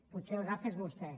potser el gafe és vostè